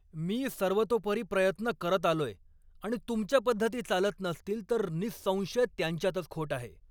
मी सर्वतोपरी प्रयत्न करत आलोय, आणि तुमच्या पद्धती चालत नसतील तर निहिसंशय त्यांच्यातच खोट आहे.